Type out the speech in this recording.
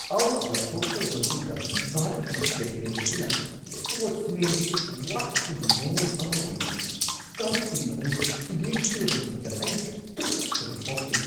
Out ꯂꯥꯎꯊꯣꯛꯈ꯭ꯔꯕ ꯃꯇꯨꯡꯗ ꯚꯥꯔꯠꯀꯤ ꯀꯦꯞꯇꯦꯟ ꯑꯗꯨꯅ, ꯁ꯭ꯄꯣꯔꯠꯃꯦꯟꯁꯤꯞ ꯋꯥꯠꯄꯒꯤ ꯃꯑꯣꯡ ꯑꯃ ꯑꯣꯏꯅ, ꯁ꯭ꯇꯝꯞꯁꯤꯡ ꯑꯗꯨ ꯊꯨꯗꯦꯛꯈꯤꯕ ꯃꯇꯝꯗ ꯑꯩ ꯇꯨꯀꯠꯆꯕ ꯐꯥꯎꯈꯤ꯫